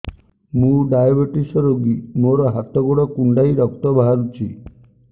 ମୁ ଡାଏବେଟିସ ରୋଗୀ ମୋର ହାତ ଗୋଡ଼ କୁଣ୍ଡାଇ ରକ୍ତ ବାହାରୁଚି